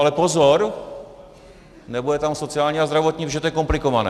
Ale pozor, nebude tam sociální a zdravotní, protože to je komplikované.